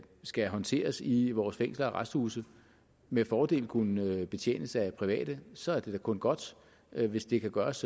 skal håndteres i vores fængsler og arresthuse med fordel kunne betjenes af private så er det da kun godt hvis det kan gøres